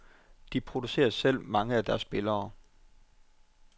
De producerer selv mange af deres spillere.